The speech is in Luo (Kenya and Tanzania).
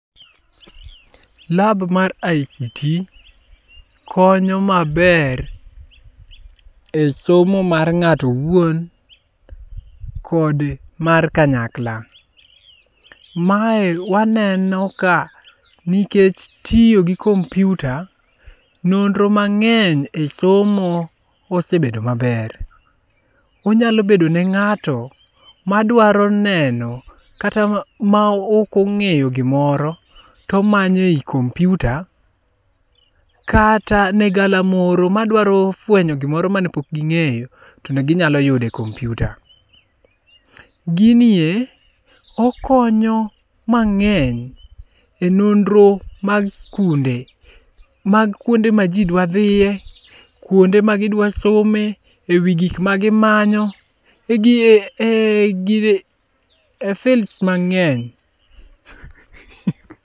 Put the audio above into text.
Lab mar ICT konyo maber esomo mar ng'ato owuon kod mar kanyakla. Mae waneno ka nikech tiyo gi kompiuta nonro mang'eny e somo osebedo maber. Onyalo bedo ne ng'ato ma dwaro neno kata maok ong'eyo gimoro to omanyo ei kompiuta kata ne galamoro madwaro fuenyo gimoro mane pok ging'eyo to ginyalo fuenyo e kompiuta. Ginie okonyo mang'eny e nonro mag sikunde mag kuonde maji dwa dhiye. kunde ma gidwa some , ei gik magimanyo, e fields mang'eny.